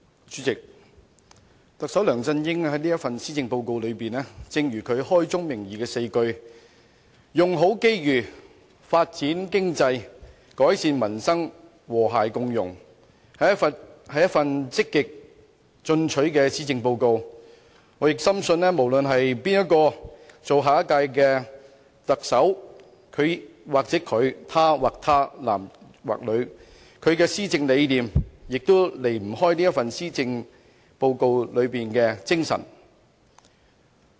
主席，特首梁振英這份施政報告，正如他開宗明義的4句："用好機遇發展經濟改善民生和諧共融"所言，是一份積極進取的施政報告，我深信無論誰人擔任下屆特首，不論是他或她、男或女，其施政理念都離不開這份施政報告的精神。